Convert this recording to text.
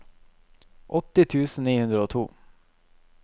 åtti tusen ni hundre og to